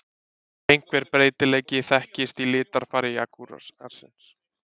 einhver breytileiki þekkist í litarfari jagúarsins